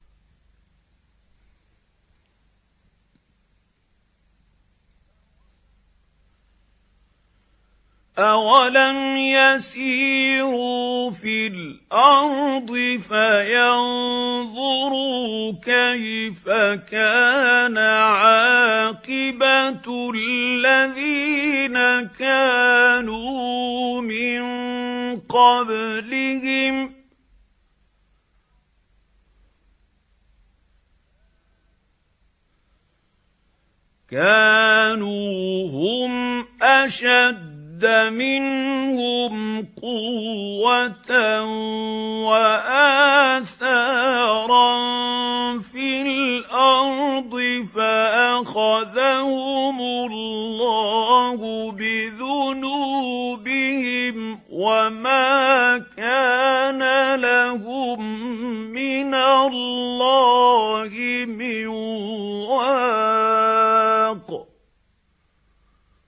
۞ أَوَلَمْ يَسِيرُوا فِي الْأَرْضِ فَيَنظُرُوا كَيْفَ كَانَ عَاقِبَةُ الَّذِينَ كَانُوا مِن قَبْلِهِمْ ۚ كَانُوا هُمْ أَشَدَّ مِنْهُمْ قُوَّةً وَآثَارًا فِي الْأَرْضِ فَأَخَذَهُمُ اللَّهُ بِذُنُوبِهِمْ وَمَا كَانَ لَهُم مِّنَ اللَّهِ مِن وَاقٍ